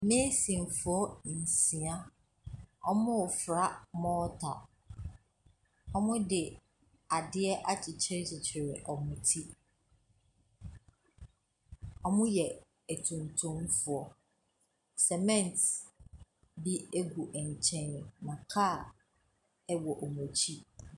Meesinfoɔ nsia. Wɔrefra mɔɔta. Wɔde adeɛ akyekyerekyekyere wɔn ti. Wɔyɛ atuntumfoɔ. Cement bi gu nkyɛn, na kaa wɔ wɔn akyi.